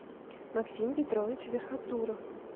максим петрович верхотуров